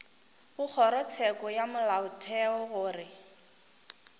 go kgorotsheko ya molaotheo gore